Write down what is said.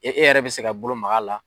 E e yɛrɛ be se ka bolo mag'a la